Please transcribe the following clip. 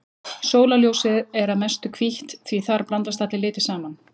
Sólarljósið er að mestu hvítt því þar blandast allir litir saman.